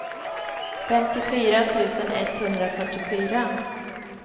femtiofyra tusen etthundrafyrtiofyra